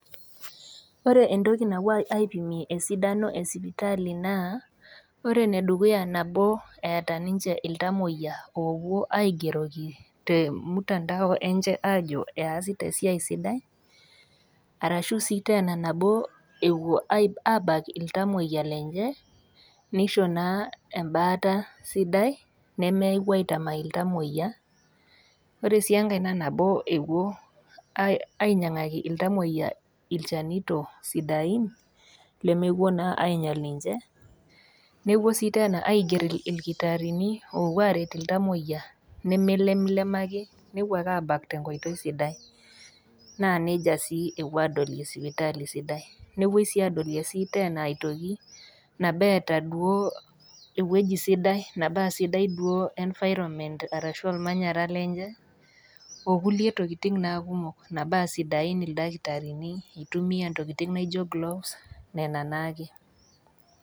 Ore entoki napuoi aipimie esidano e sipitali naa, ore ene dukuya naa nabo eata ninche iltamoiya oopuo aigeroki te emutandao enye aajo easita esiai sidai, arashu sii teena nabo epuo aabak iltamoyia lenye, neisho naa embaata sidai nemewuo naa aitamaii iltamoyia, ore sii enkai naa nabo ewuo ainyag'aki iltamoiya ilchanito sidain lemepuo naa ainyal ninche, neepuoi sii teena aiger ilkitaarini oopuo aret iltamoiya nemeilemlemaki, nepuo ake aabak tenkoitoi sidai naa neija sii epuo aadolie sipitali sidai, nepuoi sii adolie sii teena aitoki nabo eata duo ewueji sidai, napuo tanaa sidai duo environment anaa olmanyara lenye o kulie tokitin naa kumok nabaa sidain ildakitarini, eitumia intokitin naijo gloves nena naake.